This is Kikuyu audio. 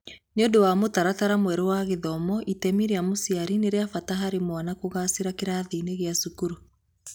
Nĩ ũndũ wa mũtaratara mwerũ wa gĩthomo, itemi rĩa mũciari nĩ rĩa bata harĩ mwana kũgaacĩra kĩrathi-ĩnĩ gĩa cukuru.